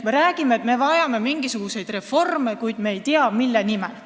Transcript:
Me räägime, et me vajame mingisuguseid reforme, kuid me ei tea, mille nimel.